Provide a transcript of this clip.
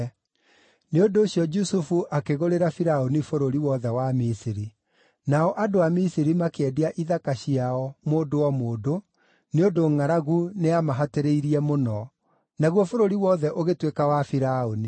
Nĩ ũndũ ũcio Jusufu akĩgũrĩra Firaũni bũrũri wothe wa Misiri. Nao andũ a Misiri makĩendia ithaka ciao, mũndũ o mũndũ, nĩ ũndũ ngʼaragu nĩyamahatĩrĩirie mũno. Naguo bũrũri wothe ũgĩtuĩka wa Firaũni.